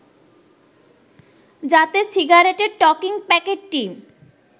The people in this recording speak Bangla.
যাতে সিগারেটের টকিং প্যাকেটটি